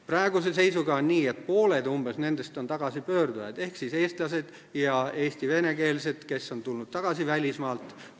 Praeguse seisuga on nii, et umbes pooled nendest on tagasipöördujad ehk eestlased ja Eesti venekeelsed, kes on tulnud tagasi välismaalt.